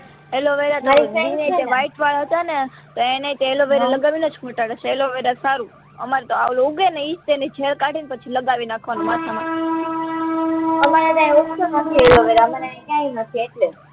aloe vera કઈ white વાળ હતા ને તો એનેય એલોવેરા લાગવીનેજ મટાડયા છે એલોવેરા સારુ અમારે તો આલું ઉગે ને એજ તો એની જેલ કાઢીને પછી લગાવી નાખવાનું માથામાં